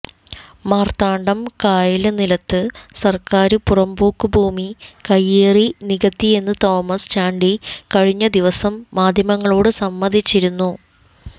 മാര്ത്താണ്ഡം കായല് നിലത്ത് സര്ക്കാര് പുറമ്പോക്കു ഭൂമി കൈയേറി നികത്തിയെന്ന് തോമസ് ചാണ്ടി കഴിഞ്ഞ ദിവസം മാധ്യമങ്ങളോട് സമ്മതിച്ചിരുന്നു